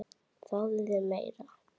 Fáðu þér meira!